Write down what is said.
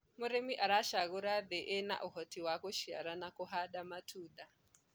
mũrĩmi aracagura thii ina uhoti wa guciara na kuhanda matunda